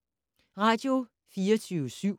Radio24syv